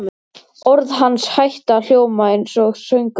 Orð hans hætta að hljóma einsog söngur.